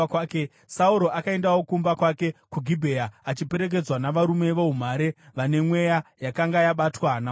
Sauro akaendawo kumba kwake kuGibhea, achiperekedzwa navarume voumhare vane mweya yakanga yabatwa naMwari.